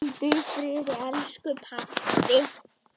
Hvíldu í friði, elsku pabbi.